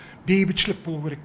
бейбітшілік болу керек